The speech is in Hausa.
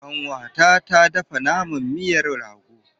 Ƙanwata ta dafa miyan naman rago.